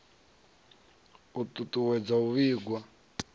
u ṱu ṱuwedza u vhigwa